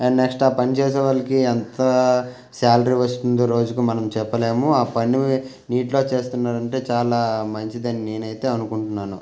Next ఆ పని చేసే వాళ్లకి ఎంత సాలరీ వస్తుందో రోజుకి మనం చెప్పలేము ఆ పని నీటిలో చేస్తున్నారంటే చాలా మంచిదని నేనైతే అనుకుంటున్నాను.